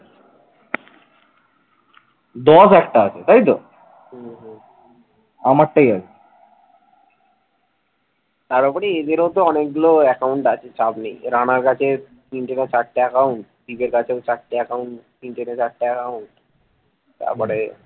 তার উপরে এদের তো অনেকগুলো accounts আছে। চাপ নেই রানার কাছে তিনটে না চারটে account শিবের কাছে চারটি account তিনটে না চারটে account তারপরে